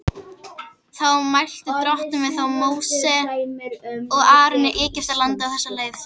Þá mælti Drottinn við þá Móse og Aron í Egyptalandi á þessa leið:.